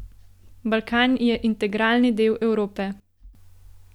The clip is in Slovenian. Balkan je integralni del Evrope.